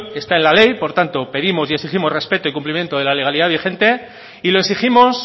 está en la ley por tanto pedimos y exigimos respeto y cumplimiento de la legalidad vigente y lo exigimos